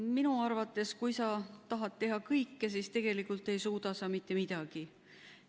Minu arvates on nii, et kui sa tahad teha kõike, siis tegelikult ei suuda sa mitte midagi.